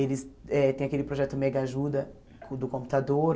Eles eh têm aquele projeto Mega Ajuda do computador,